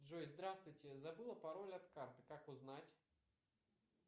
джой здравствуйте забыла пароль от карты как узнать